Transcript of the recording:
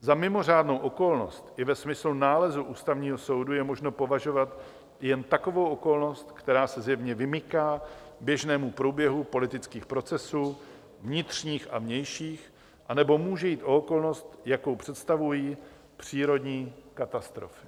Za mimořádnou okolnost i ve smyslu nálezu Ústavního soudu je možno považovat jen takovou okolnosti, která se zjevně vymyká běžnému průběhu politických procesů vnitřních a vnějších, anebo může jít o okolnost, jakou představují přírodní katastrofy.